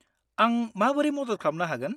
आं माबोरै मदद खालामनो हागोन?